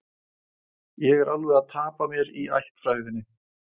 Ég er alveg að tapa mér í ættfræðinni